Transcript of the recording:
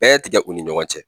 Bɛɛ tigɛ u ni ɲɔgɔn cɛ.